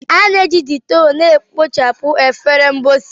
A na-eji Dettol na-ekpochapụ efere mposi.